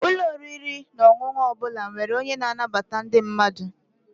Ụlọ oriri na ọṅụṅụ ọ bụla nwere onye na-anabata ndị mmadụ.